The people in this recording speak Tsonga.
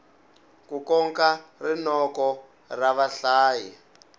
ku koka rinoko ra vahlayi